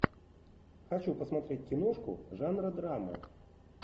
хочу посмотреть киношку жанра драма